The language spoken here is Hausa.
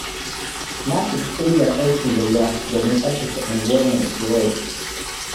Na shiga ƙungiyar aikin gayya domin tsabtace unguwarmu da kewaye.